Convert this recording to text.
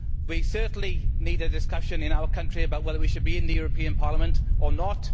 We certainly need a discussion in our country about whether we should be in the European Parliament or not.